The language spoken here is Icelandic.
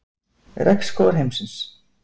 Regnskógar heimsins.